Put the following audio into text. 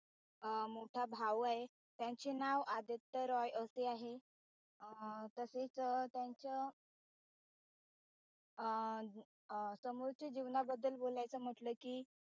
अं मोठा भाऊ आहे त्यांचे नाव आदित्य रॉय असे आहे तसेच त्यांच्या अं अ त्यांच्या सोमोरच्या जीवनाबद्दल बोलायचं म्हटलं कि